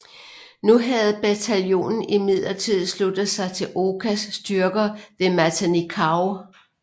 Nu havde bataljonen imidlertid sluttet sig til Okas styrker ved Matanikau